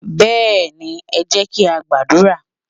Béèni, e jé kí á gbàdúrà